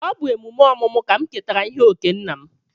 Ọ bụ emume ọmụmụ ka m ketara ihe okee nna m.